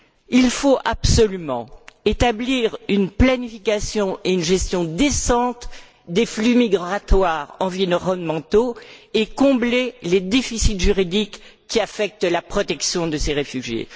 Il faut absolument établir une planification et une gestion décentes des flux migratoires environnementaux et combler les déficits juridiques qui affectent la protection de ces réfugiés.